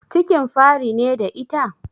Cikin fari ne da ita?